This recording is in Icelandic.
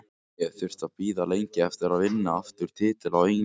Ég hef þurft að bíða lengi eftir að vinna aftur titil á Englandi.